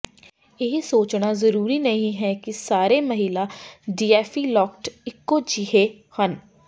ਇਹ ਸੋਚਣਾ ਜ਼ਰੂਰੀ ਨਹੀਂ ਹੈ ਕਿ ਸਾਰੇ ਮਹਿਲਾ ਡੀਏਫਿਲੋਕਟ ਇੱਕੋ ਜਿਹੇ ਹਨ